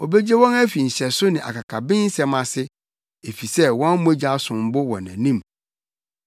Obegye wɔn afi nhyɛso ne akakabensɛm ase, efisɛ wɔn mogya som bo wɔ nʼanim.